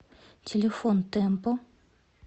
телефон темпо